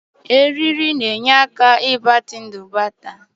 Were eriri eriri na ndụ batrị agbatịkwuru iji kpochapụ ụdọ ọkụ ma nwekwuo mgbanwe.